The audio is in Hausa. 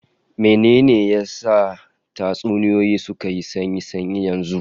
Mene ne ya sa tatsuniyoyi suka yi sanyi sanyi yanzu?